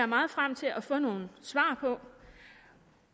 meget frem til at få nogle svar på